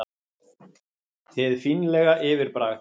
Hið fínlega yfirbragð